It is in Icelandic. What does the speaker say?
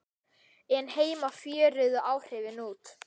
en heima fjöruðu áhrifin út.